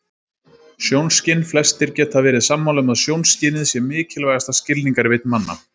Sjónskyn Flestir geta verið sammála um að sjónskynið sé mikilvægasta skilningarvit manna.